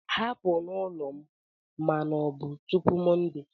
Hapụ n'ụlọ m na ma ọ bụ tupu Monday!